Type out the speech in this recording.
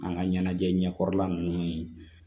An ka ɲɛnajɛ kɔrɔla ninnu ye